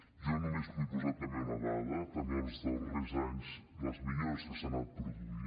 jo només vull posar també una dada també els darrers anys les millores que s’han anat produint